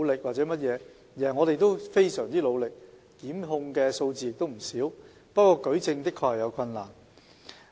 我們非常努力，檢控的數字亦不少，不過舉證的確有困難。